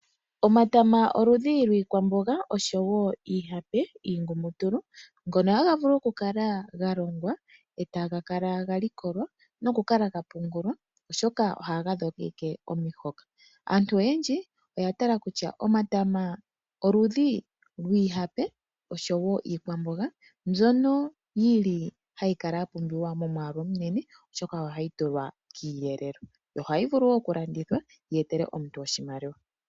Omatama oludhi lwiikwamboga noshowo iihape niingumutulu ngono haga vulu okukala ga longwa e taga kala ga likolwa nokukala ga pungulwa, oshoka ohaga dhogeke omihoka. Aantu oyendji oya tala kutya omatama oludhi lwiihape noshowo iikwamboga mbyono hayi kala ya pumbiwa momwaalu omunene, oshoka ohayi tulwa kiiyelelwa. Ohayi vulu wo okulandithwa yi etele omuntu oshimaliwa.